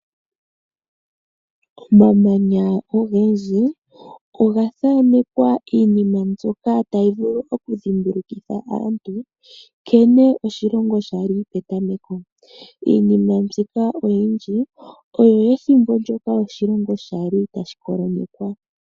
Omamanya ogendji oga thaanekwa iinima mbyoka tayi vulu oku dhimbulukitha aantu nkene oshilongo shali petameko. Iinima mbyoka oyindji oyo yethimbo sho oshilongo shali tashi kolonyekwa.